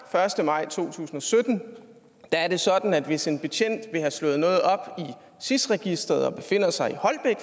første maj to tusind og sytten er det sådan at hvis en betjent vil have slået noget op i sis registret og befinder sig i